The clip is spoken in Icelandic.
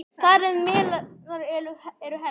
Þar á meðal eru helst